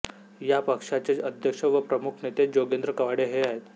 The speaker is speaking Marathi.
या पक्षाचे अध्यक्ष व प्रमुख नेते जोगेंद्र कवाडे हे आहेत